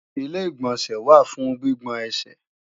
Ilé-ìgbọ̀nsẹ̀ wà fún gbígbọn ẹsẹ̀